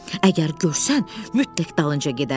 Əgər görsən, mütləq dalınca gedərsən.